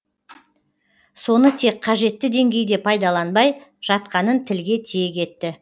соны тек қажетті деңгейде пайдаланбай жатқанын тілге тиек етті